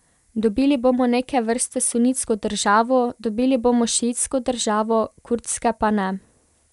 Dobili bomo neke vrste sunitsko državo, dobili bomo šiitsko državo, kurdske pa ne.